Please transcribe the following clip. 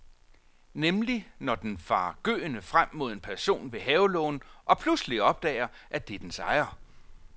Nemlig når den farer gøende frem mod en person ved havelågen og pludselig opdager, at det er dens ejer.